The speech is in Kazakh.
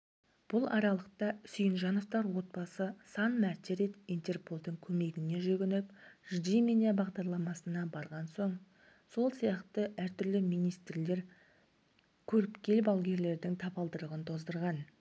бұл аралықта сүйінжановтар отбасы сан мәрте рет интерполдың көмегіне жүгініп жди меня бағдарламасына барған сол сияқты әртүрлі министрлер көріпкел-балгерлердің табалдырығын тоздырған